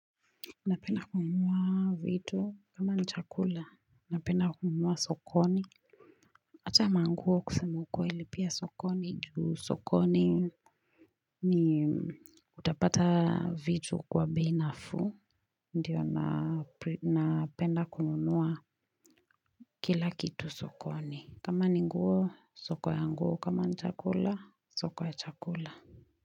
Napenda kununua vitu kama ni chakula napenda kununua sokoni Acha manguo kusema ukweli pia sokoni ju sokoni ni utapata vitu kwa bei nafuu Ndiyo napenda kununua kila kitu sokoni kama ninguo soko ya nguo kama ni chakula soko ya chakula.